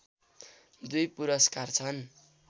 दुई पुरस्कार छन्